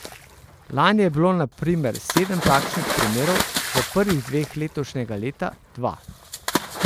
Lani je bilo na primer sedem takšnih primerov, v prvih dneh letošnjega leta dva.